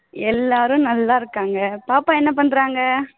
எல்லாரும் நல்லா இருக்காங்க பாப்பா என்ன பண்றாங்க?